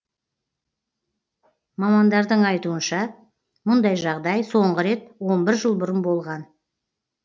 мамандардың айтуынша мұндай жағдай соңғы рет он бір жыл бұрын болған